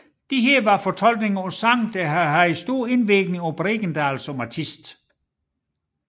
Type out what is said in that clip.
Disse var fortolkninger på sange der havde haft en stor indvirkning på Bregendal som artist